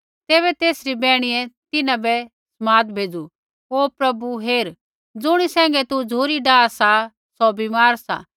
तैबै तेसरी बैहणिये तिन्हां बै समाद भेज़ू ओ प्रभु हेर ज़ुणी सैंघै तू झ़ुरी डाहा सा सौ बीमार सा